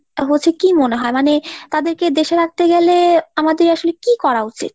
হচ্ছে কী মনে হয় ? মানে তাদেরকে দেশে রাখতে গেলে আমাদের আসলে কী করা উচিত ?